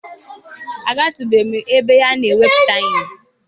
Agatụbeghị m ebe a na-egwupụta ihe